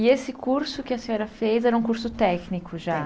E esse curso que a senhora fez era um curso técnico já?